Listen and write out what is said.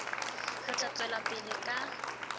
re tla tswela pele ka